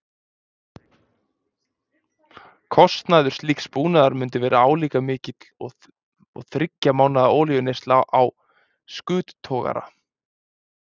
Stofnkostnaður slíks búnaðar mundi verða álíka mikill og um þriggja mánaða olíueyðsla á skuttogara.